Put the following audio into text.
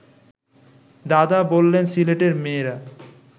দাদা বললেন সিলেটের মেয়েরা